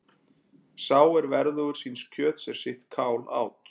Sá er verðugur síns kjöts er sitt kál át.